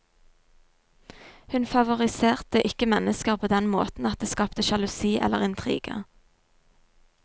Hun favoriserte ikke mennesker på den måten at det skapte sjalusi eller intriger.